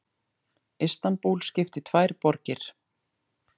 Istanbúl skipt í tvær borgir